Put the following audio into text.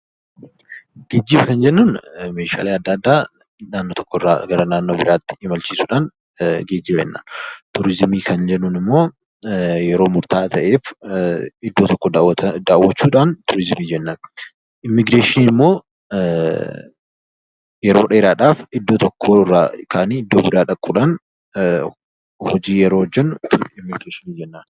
Geejiba kan jennuun Meeshaalee addaa addaa bakka tokko irraa gara naannoo biraatti imalchiisuudhaan geejiba jennaan. Turizimii kan jennuun immoo yeroo murtaawaa ta'eef bakka tokko daawwachuudhaan turizimii jennaan. Immigireeshiniin immoo yeroo dheeraadhaaf iddoo tokko irraa iddoo biraa dhaquudhaan hojii yeroo hojjennu immigireeshinii jennaan.